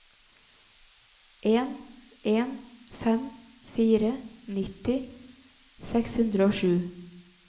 en en fem fire nitti seks hundre og sju